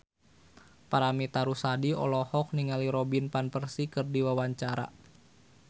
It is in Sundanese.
Paramitha Rusady olohok ningali Robin Van Persie keur diwawancara